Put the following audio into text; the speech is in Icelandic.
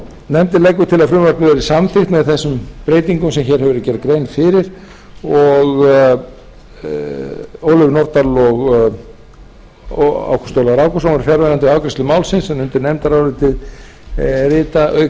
nefndin leggur til að frumvarpið verði samþykkt með þessum breytingum sem hér hefur verið gerð grein fyrir háttvirta þingmenn ólöf nordal og ágúst ólafur ágústsson voru fjarverandi við afgreiðslu málsins undir nefndarálitið rita auk